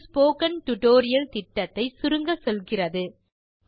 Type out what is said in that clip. அது spoken tutorial திட்டத்தை சுருங்கச்சொல்கிறது